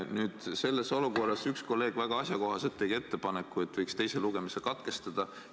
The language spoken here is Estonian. Nüüd, selles olukorras tegi üks kolleeg väga asjakohase ettepaneku, et võiksime teise lugemise katkestada.